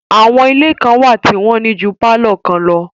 Àwọn ilé kan wà tí wọ́n ní ju pálọ̀ kan lọ